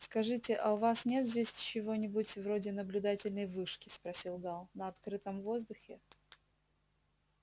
скажите а у вас нет здесь чего-нибудь вроде наблюдательной вышки спросил гаал на открытом воздухе